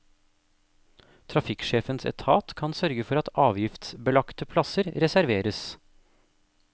Trafikksjefens etat kan sørge for at avgiftsbelagte plasser reserveres.